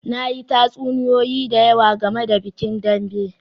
Na yi tatsuniyoyi da yawa game da bikin Dambe